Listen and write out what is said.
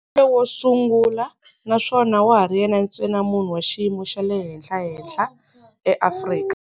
Wo sungula na swona wa ha ri yena ntsena munhu wa xiyimo xa le henhlahenhla eAfrika